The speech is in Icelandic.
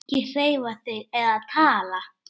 Ekki hreyfa þig eða tala.